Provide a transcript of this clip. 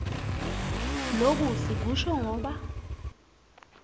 loku sikusho ngoba